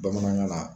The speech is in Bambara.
Bamanankan na